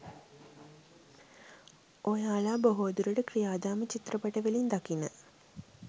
ඔයාලා බොහෝ දුරට ක්‍රියාදාම චිත්‍රපටිවලින් දකින